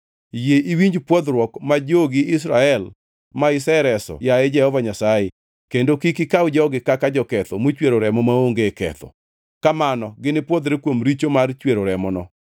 Yie iwinj pwodhruok ma jogi Israel ma isereso yaye Jehova Nyasaye kendo kik ikaw jogi kaka joketho mochwero remo maonge ketho.” Kamano ginipwodhre kuom richo mar chwero remono.